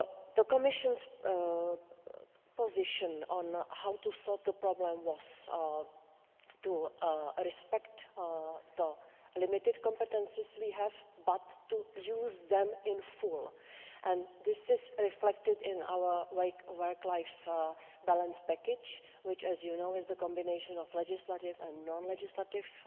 The Commission's position on how to solve the problem was to respect the limited competences we have, but to use them in full, and this is reflected in our work life balance package which, as you know, is the combination of legislative and non legislative